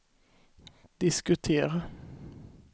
diskutera